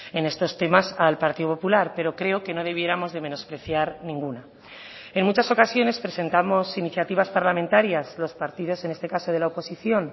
en estos temas al partido popular pero creo que no debiéramos de menospreciar ninguna en muchas ocasiones presentamos iniciativas parlamentarias los partidos en este caso de la oposición